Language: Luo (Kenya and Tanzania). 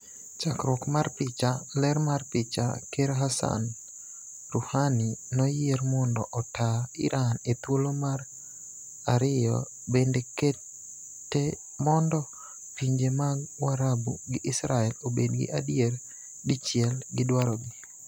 Chakruok mar picha, . Ler mar picha, Ker Hassan Rouhani noyier mondo otaa Iran e thuolo mar aeriyo bende kete mondo pinje mag Warabu gi Israel obed gi adier dichiel gi dwaro gi.